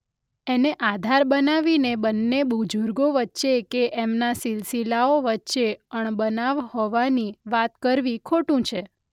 એને આધાર બનાવીને બન્ને બુઝુર્ગો વચ્ચે કે એમના સિલસિલાઓ વચ્ચે અણબનાવ હોવાની વાત કરવી ખોટું છે.